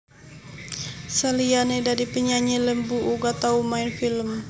Saliyané dadi penyanyi Lembu uga tau main film